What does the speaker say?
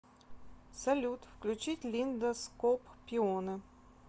салют включить линда скоп пионы